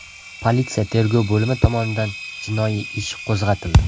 Politsiya tergov bo‘limi tomonidan jinoiy ish qo‘zg‘atildi.